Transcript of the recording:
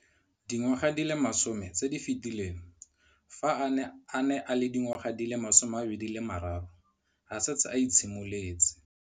Dingwaga di le 10 tse di fetileng, fa a ne a le dingwaga di le 23 mme a setse a itshimoletse.